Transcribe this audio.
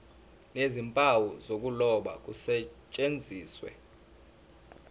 nezimpawu zokuloba kusetshenziswe